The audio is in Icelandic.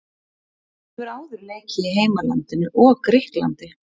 Hún hefur áður leikið í heimalandinu og Grikklandi.